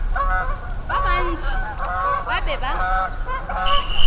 ba bantši ba be ba